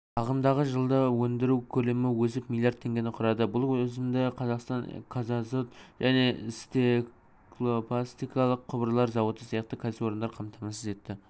ағымдағы жылда өндіру көлемі өсіп миллиард теңгені құрады бұл өсімді казахстан казазот және стеклопластикалық құбырлар зауыты сияқты кәсіпорындар қамтамасыз етті